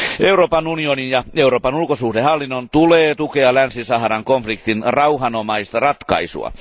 Euroopan unionin ja Euroopan ulkosuhdehallinnon tulee tukea Länsi Saharan konfliktin rauhanomaista ratkaisua.